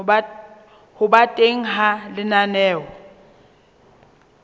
ho ba teng ha lenaneo